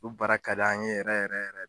Olu baara ka d'an yɛrɛ yɛrɛ yɛrɛ